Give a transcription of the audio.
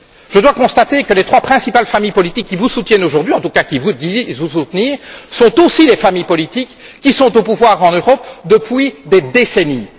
Je dois constater que les trois principales familles politiques qui vous soutiennent aujourd'hui, en tout cas, qui vont vous soutenir, sont aussi les familles politiques qui sont au pouvoir en Europe depuis des décennies.